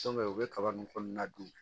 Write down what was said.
u bɛ kaba ninnu kɔnɔna dun